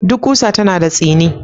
Duk ƙusa tana da tsini.